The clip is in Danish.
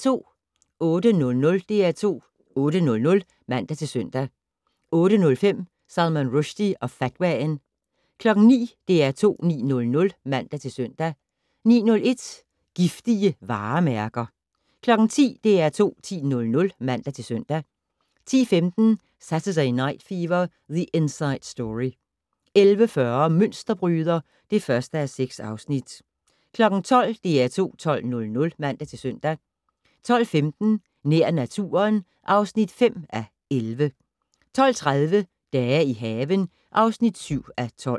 08:00: DR2 8:00 (man-søn) 08:05: Salman Rushdie og fatwaen 09:00: DR2 9:00 (man-søn) 09:01: Giftige varemærker 10:00: DR2 10:00 (man-søn) 10:15: Saturday Night Fever: The Inside Story 11:40: Mønsterbryder (1:6) 12:00: DR2 12:00 (man-søn) 12:15: Nær naturen (5:11) 12:30: Dage i haven (7:12)